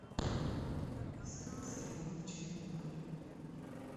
искать сериал чернобыль